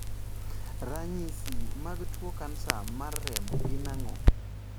Ranyisi mag tuo kansa mar remo gin ang'o?